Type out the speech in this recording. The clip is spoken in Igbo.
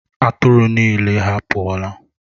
Atụrụ niile ha pụọla?